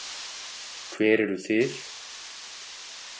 Hver eruð þið?